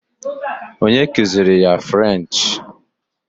Onye kuziiri ya frenchị